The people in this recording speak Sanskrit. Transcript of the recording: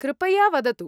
कृपया वदतु।